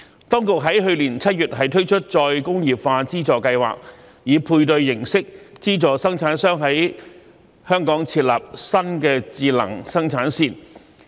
當局在去年7月推出再工業化資助計劃，以配對形式資助生產商在香港設立新的智能生產線。